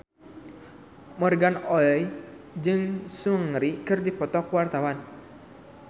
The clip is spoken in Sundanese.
Morgan Oey jeung Seungri keur dipoto ku wartawan